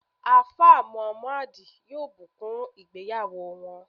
Alfa Muhammad yoo bukun ìgbéyàwò wọn